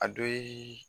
A dɔ ye